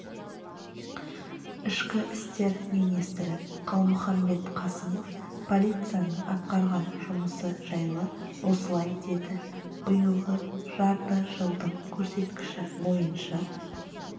ішкі істер министрі қалмұхамбет қасымов полицияның атқарған жұмысы жайлы осылай деді биылғы жарты жылдың көрсеткіші бойынша